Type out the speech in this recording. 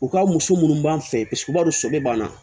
U ka muso munnu b'an fɛ paseke u b'a dɔn so bɛ banna